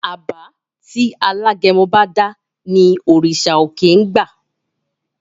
Àbá tí alágẹmọ bá dá ní òrìṣà òkè ń gba.